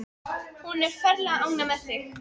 Hún er ferlega ánægð með þig.